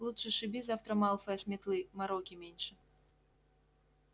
лучше сшиби завтра малфоя с метлы мороки меньше